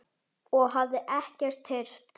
og hafði ekkert heyrt.